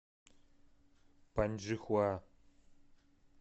паньчжихуа